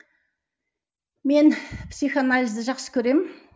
мен психоанализді жақсы көремін